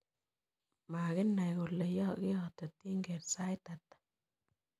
Makinar kole kiyate tinget sait ata.